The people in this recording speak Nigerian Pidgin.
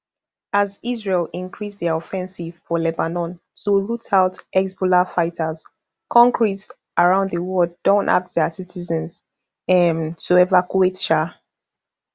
as israel increase dia offensive for lebanon to root out hezbollah fighters kontris around di world don ask dia citizens um to evacuate um